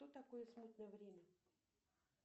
что такое смутное время